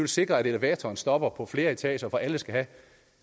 sikre at elevatoren stopper på flere etager fordi alle skal have